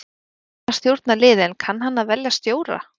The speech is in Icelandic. Hann kunni að stjórna liði en kann hann að velja stjóra?